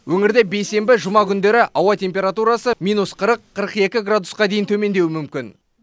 өңірде бейсенбі жұма күндері ауа температурасы минус қырық қырық екі градусқа дейін төмендеуі мүмкін